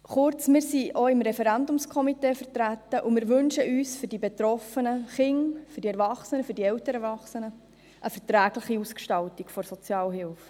Kurz: Wir sind auch im Referendumskomitee vertreten, und wir wünschen uns für die betroffenen Kinder, Erwachsenen und älteren Erwachsenen eine verträgliche Ausgestaltung der Sozialhilfe.